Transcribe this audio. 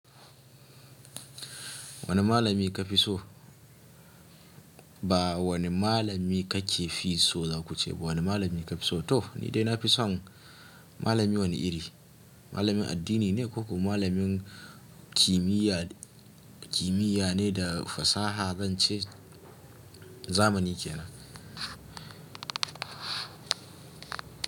Wane malami ka fi so? Ba wani malami ka ke fi so za ku ce ba. Wane malami ka fi so? To ni dai na fi son malami wani iri. Malamin addini ne ko kuma malamin kimiyya, kimiyya ne da fasaha zan ce zamani ke nan.